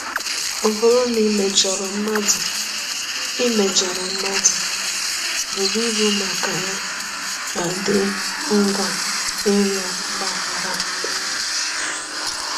Ọ bụrụ na i mejọrọ mmadụ i mejọrọ mmadụ, buru ibu maka ya ma dị ngwa ịrịọ mgbaghara.